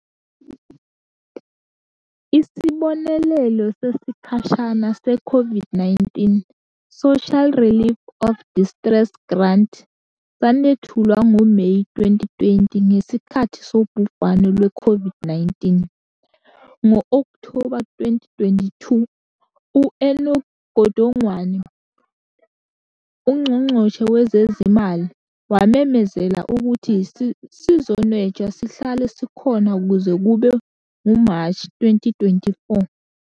Isibonelelo sesikhashana se-Covid-19 Social Relief of Distress Grant sanethulwa ngoMeyi 2020 ngesikhathi sobhubhane lwe-Covid-19, ngo-Okthoba 2022, u-Enoch Godongwana, uNgqongqoshe Wezezimali, wamemezela ukuthi sizonwetshwa sihlale sikhona kuze kube nguMashi 2024.